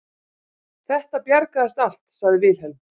Þetta bjargaðist allt, sagði Vilhelm.